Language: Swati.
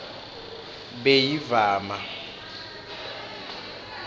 beyivama